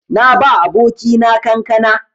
Na ba abokina kankana.